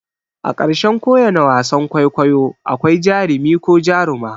A ƙarshen ko wane wasan kwaikwayo akwai jarumi ko jaruma.